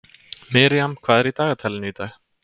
Miriam, hvað er í dagatalinu í dag?